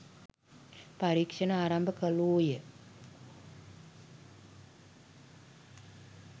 පරීක්ෂණ ආරම්භ කළෝය